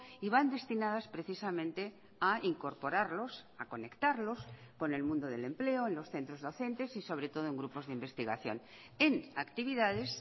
y van destinadas precisamente a incorporarlos ha conectarlos con el mundo del empleo en los centros docentes y sobre todo en grupos de investigación en actividades